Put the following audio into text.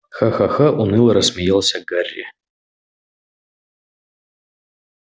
ха-ха-ха уныло рассмеялся гарри